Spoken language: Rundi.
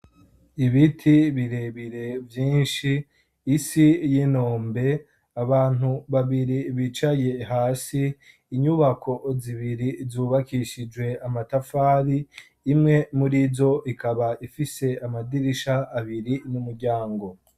Ibiti birebire vyinshi isi y'inombe abantu babiri bicaye hasi inyubako zibiri zubakishijwe amatafari imwe muri zo ikaba ifise amadirisha abiri n'umuryango.